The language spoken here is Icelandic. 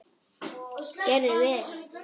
Gerði vel.